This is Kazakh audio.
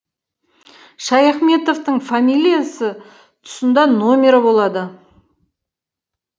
шаяхметовтің фамилиясы тұсында номері болады